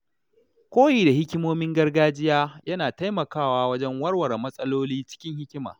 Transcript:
Koyi da hikimomin gargajiya yana taimakawa wajen warware matsaloli cikin hikima.